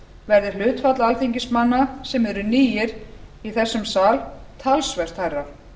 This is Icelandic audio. verði hlutfall alþingismanna sem eru nýir í þessum sal talsvert hærra